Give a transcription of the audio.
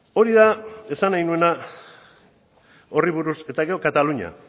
hori da esan nahi nuena horri buruz eta gero katalunia